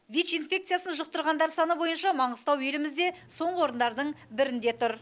вич инфекциясын жұқтырғандар саны бойынша маңғыстау елімізде соңғы орындардың бірінде тұр